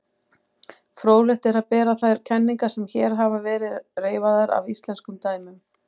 Fróðlegt er að bera þær kenningar sem hér hafa verið reifaðar að íslenskum dæmum.